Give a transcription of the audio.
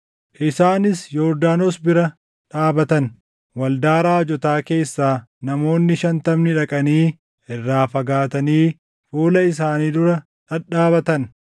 Isaanis Yordaanos bira dhaabatan; waldaa raajotaa keessaa namoonni shantamni dhaqanii irraa fagaatanii fuula isaanii dura dhadhaabatan.